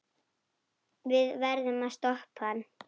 Við verðum að stoppa hann.